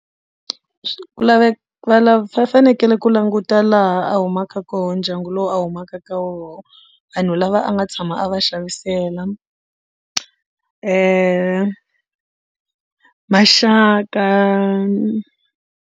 Ku laveka va lava va fanekele ku languta laha a humaka kona ndyangu lowu a humaka ka wona vanhu lava a nga tshama a va xavisela maxaka.